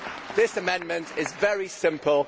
This amendment is very simple